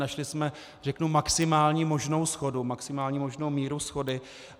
Našli jsme, řeknu, maximální možnou shodu, maximální možnou míru shody.